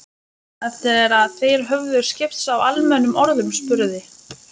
Eftir að þeir höfðu skipst á almennum orðum spurði